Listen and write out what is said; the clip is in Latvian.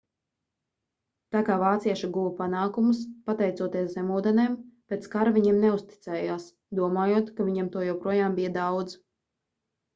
tā kā vācieši guva panākumus pateicoties zemūdenēm pēc kara viņiem neuzticējās domājot ka viņiem to joprojām bija daudz